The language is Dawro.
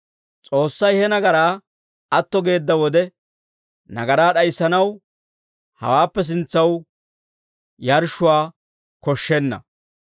S'oossay he nagaraa atto geedda wode, nagaraa d'ayissanaw hawaappe sintsaw yarshshuwaa koshshenna.